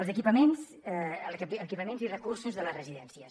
els equipaments i els recursos de les residències